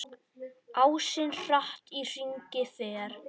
Ásinn hratt í hringi fer.